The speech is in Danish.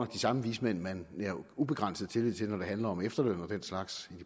de samme vismænd man nærer ubegrænset tillid til når det handler om efterløn og den slags